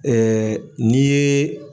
n'i ye